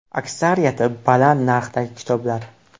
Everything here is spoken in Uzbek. Aksariyati baland narxdagi kitoblar.